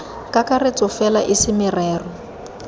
kakaretso fela e se merero